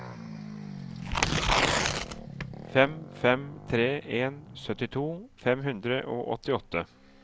fem fem tre en syttito fem hundre og åttiåtte